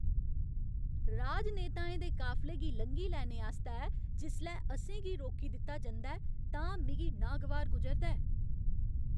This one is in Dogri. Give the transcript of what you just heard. राजनेताएं दे काफले गी लंघी लैने आस्तै जिसलै असें गी रोकी दित्ता जंदा ऐ तां मिगी नागवार गुजरदा ऐ।